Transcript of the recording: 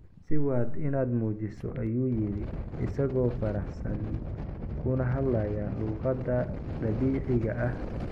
"Sii wad inaad nuujiso," ayuu yiri isagoo faraxsan kuna hadlaya luqadda dabiiciga ah.